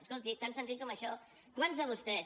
escolti tan senzill com això quants de vostès